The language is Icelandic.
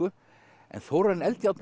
en Þórarinn Eldjárn